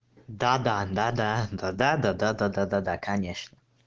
да да да да да да да да да да да да конечно